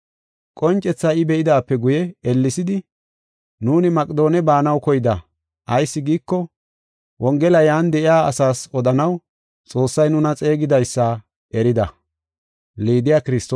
Qoncethaa I be7idaape guye ellesidi nuuni Maqedoone baanaw koyda. Ayis giiko, wongela yan de7iya asaas odanaw Xoossay nuna xeegidaysa erida.